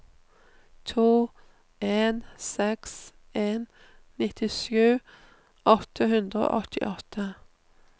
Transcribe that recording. to en seks en nittisju åtte hundre og åttiåtte